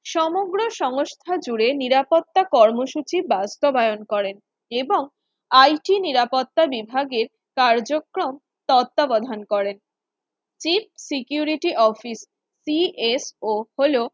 সমগ্র সংস্থা জুড়ে নিরাপত্তা কর্মসূচি বাস্তবায়ন করে এবং IT নিরাপত্তা বিভাগের কার্যক্রম তত্ত্বাবধান করেন Chief Security office cf ও হল